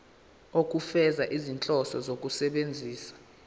ukufeza izinhloso zokusebenzisa